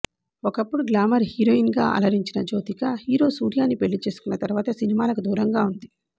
ఒకప్పుడు గ్లామర్ హీరోయిన్గా అలరించిన జ్యోతిక హీరో సూర్యని పెళ్లి చేసుకున్న తర్వాత సినిమాలకి దూరంగా ఉంది